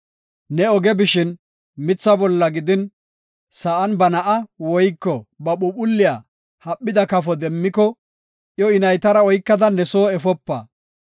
Ne oge bishin, mitha bolla gidin, sa7an ba na7aa woyko ba phuuphulliya haphida kafo demmiko, iyo, I naytara oykada ne soo efopa.